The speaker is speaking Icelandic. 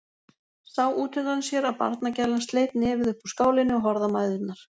Sá útundan sér að barnagælan sleit nefið upp úr skálinni og horfði á mæðurnar.